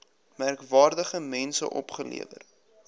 merkwaardige mense opgelewer